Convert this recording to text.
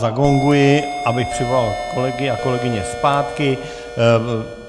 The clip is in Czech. Zagonguji, abych přivolal kolegyně a kolegy zpátky.